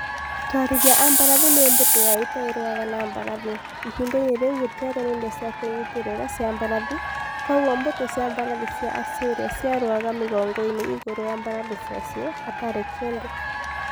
Atwarithia a mbarathi nĩ mbũtũ ya ita ĩrũaga na mbarathi. Ihinda-inĩ rĩu gũtiarĩ na indo cia kwĩnyitĩrĩra cia mbarathi, kwoguo mbũtũ cia mbarathi cia Assyria ciarũaga migongo-ini igũrũ ya mbarathi ciacio hatari kindũ.